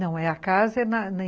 Não, é a casa em na